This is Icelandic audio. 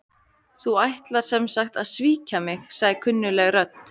Þú ætlar sem sagt að svíkja mig- sagði kunnugleg rödd.